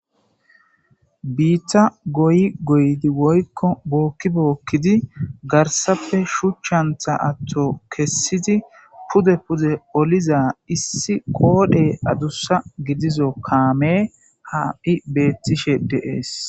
Hiitta goy goydi woykko bookki bookkidi garsappe shuchchantha atto kessidi pude pude oliza issi qoodhey adussa gidizo kaame haai beettishe deees